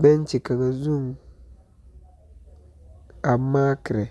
bɛnkye kaŋa zuŋ, a maakerɛ.